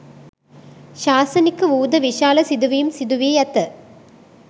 ශාසනික වූද, විශාල සිදුවීම් සිදුවී ඇත.